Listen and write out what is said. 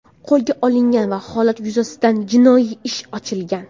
qo‘lga olingan va holat yuzasidan jinoiy ish ochilgan.